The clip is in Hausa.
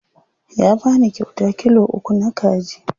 Ya bani kyauta kilo uku na kaji.